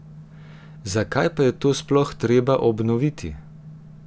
Zakaj pa je to sploh treba obnoviti?